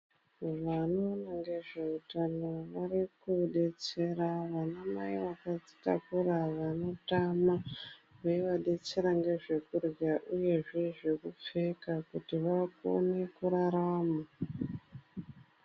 Vanoona ngezveutano varikudetsera anamai akazvitakura vanotama veiva detsera ngezvekurya uyezve zvekupfeka kuti vaone kurarama.